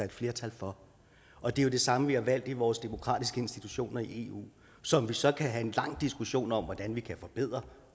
et flertal for og det er jo det samme vi har valgt i vores demokratiske institutioner i eu som vi så kan have en lang diskussion om hvordan vi kan forbedre